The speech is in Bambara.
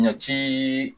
Ɲɛti